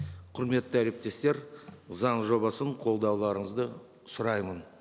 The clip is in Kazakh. құрметті әріптестер заң жобасын қолдауларыңызды сұраймын